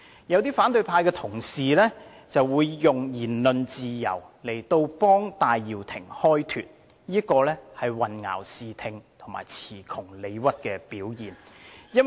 有些反對派同事以言論自由來為戴耀廷開脫，這是混淆視聽及詞窮理屈的表現。